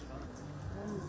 Nə deyirəm, çox gözəl.